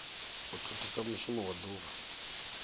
u thithisa mushumo wa duvha